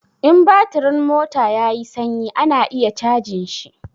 In batirin mota ya yi sanyi ana iya cajin shi.